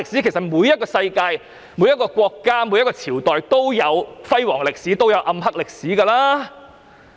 其實，世界上每一個國家、每一個朝代都有輝煌歷史，也有暗黑歷史。